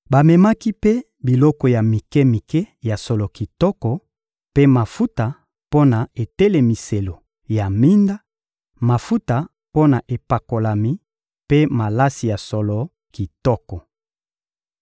Bamemaki mpe biloko ya mike-mike ya solo kitoko mpe mafuta mpo na etelemiselo ya minda, mafuta mpo na epakolami mpe malasi ya solo kitoko.